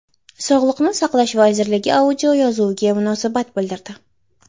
Sog‘liqni saqlash vazirligi audioyozuvga munosabat bildirdi .